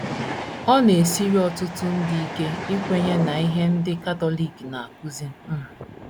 Ọ na - esiri ọtụtụ ndị ike ikwenye n’ihe ahụ ndị Katọlik na - akụzi um.